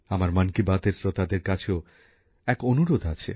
আমার মন কি বাতএর শ্রোতাদের কাছেও একটি অনুরোধ আছে